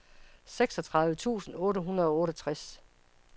seksogtredive tusind otte hundrede og otteogtres